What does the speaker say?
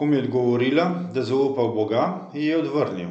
Ko mu je odgovorila, da zaupa v Boga, ji je odvrnil: